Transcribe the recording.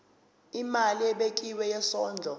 imali ebekiwe yesondlo